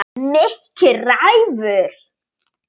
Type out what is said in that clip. En Mikki ræður.